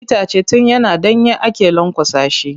Itace tun yana ɗanye ake lanƙwasa shi.